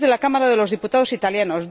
3 de la Cámara de los Diputados italiana